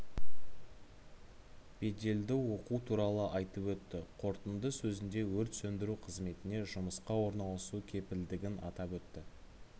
беделді оқу туралы айтып өтті қорытынды сөзінде өрт сөндіру қызметіне жұмысқа орналасу кепілдігін атап өтті